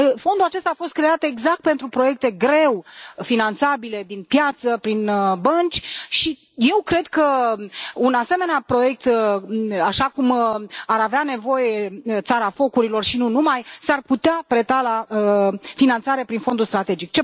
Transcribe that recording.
Fondul acesta a fost creat exact pentru proiecte greu finanțabile din piață prin bănci și eu cred că un asemenea proiect, așa cum ar avea nevoie Țara focurilor și nu numai, s ar putea preta la finanțare prin Fondul strategic.